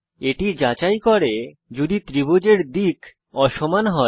এটি যাচাই করে যদি ত্রিভুজের দিক অসমান হয়